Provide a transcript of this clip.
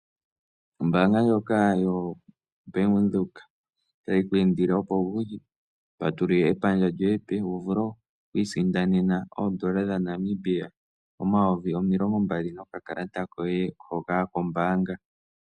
Ombaanga ndjoka yoBank Windhoek otayi ku indile opo wuye wu patulule epandja lyoye epe, wu vule oku isindanena oondola dhaNamibia omayovi omilongo mbali nokakalata koye hoka kombaanga.